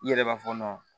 I yɛrɛ b'a fɔ